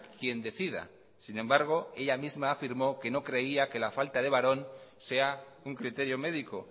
quien decida sin embargo ella misma afirmó que no creía que la falta de varón sea un criterio médico